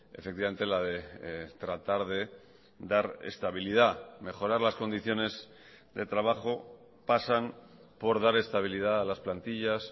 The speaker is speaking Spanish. efectivamente la de tratar de dar estabilidad mejorar las condiciones de trabajo pasan por dar estabilidad a las plantillas